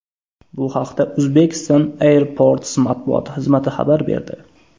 Bu haqda Uzbekistan Airports matbuot xizmati xabar berdi .